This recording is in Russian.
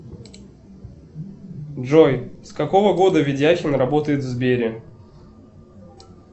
джой с какого года ведяхин работает в сбере